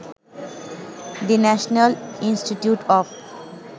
the national institute of